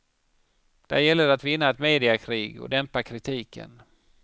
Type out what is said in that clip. Där gäller det att vinna ett mediakrig och dämpa kritiken.